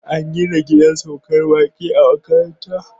An gina gidan saukar baƙi a makaranta.